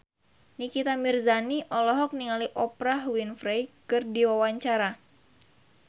Nikita Mirzani olohok ningali Oprah Winfrey keur diwawancara